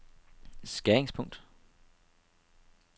skæringspunkt